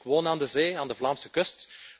Ik woon aan de zee aan de Vlaamse kust.